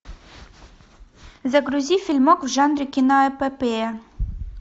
загрузи фильмок в жанре киноэпопея